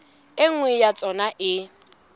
e nngwe ya tsona e